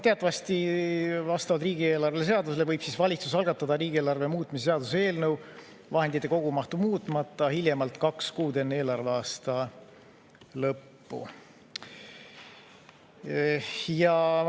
Teatavasti vastavalt riigieelarve seadusele võib valitsus algatada riigieelarve muutmise seaduse eelnõu vahendite kogumahtu muutmata hiljemalt kaks kuud enne eelarveaasta lõppu.